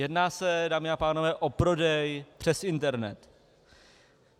Jedná se, dámy a pánové, o prodej přes internet.